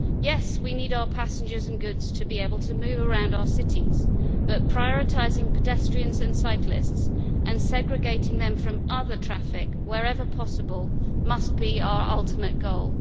Yes, we need our passengers and goods to be able to move around our cities, but prioritising pedestrians and cyclists and segregating them from other traffic wherever possible must be our ultimate goal.